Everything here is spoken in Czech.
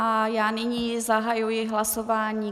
A já nyní zahajuji hlasování.